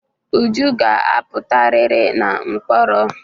Uju ga-apụtarịrị na mkpọrọ.